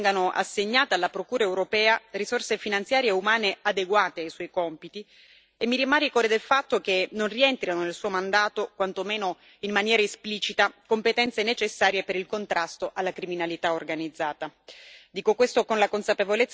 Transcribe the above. Pertanto, auspico che vengano assegnate alla Procura europea risorse finanziarie umane e adeguate ai suoi compiti e mi rammarico del fatto che non rientrino nel suo mandato, quanto meno in maniera esplicita, competenze necessarie per il contrasto alla criminalità organizzata.